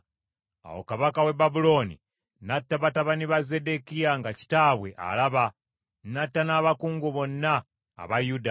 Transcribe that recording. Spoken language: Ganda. Awo kabaka w’e Babulooni n’atta batabani ba Zeddekiya nga kitaabwe alaba; n’atta n’abakungu bonna aba Yuda.